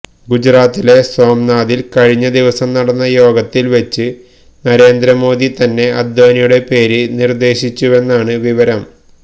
ഗുജറാത്തിലെ സോംനാഥില് കഴിഞ്ഞ ദിവസം നടന്ന യോഗത്തില് വെച്ച് നരേന്ദ്ര മോദി തന്നെ അദ്വാനിയുടെ പേര് നിര്ദേശിച്ചുവെന്നാണ് വിവരം